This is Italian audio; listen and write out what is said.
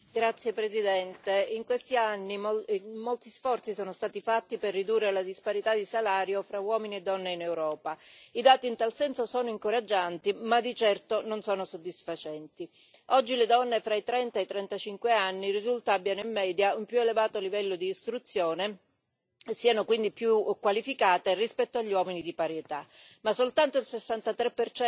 Signora Presidente, onorevoli colleghi, in questi anni molti sforzi sono stati fatti per ridurre la disparità di salario fra uomini e donne in Europa. I dati in tal senso sono incoraggianti, ma di certo non sono soddisfacenti. Oggi le donne tra i 30 e i 35 anni risulta abbiano in media un più elevato livello di istruzione e siano quindi più qualificate rispetto agli uomini di pari età, ma soltanto il 63